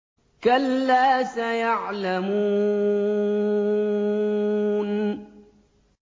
كَلَّا سَيَعْلَمُونَ